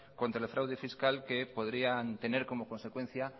contra el fraude fiscal que podrían tener como consecuencia